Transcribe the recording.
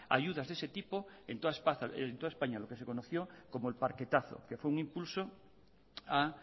ayudas de ese tipo en toda españa lo que se conoció como el parquetazo que fue un impulso a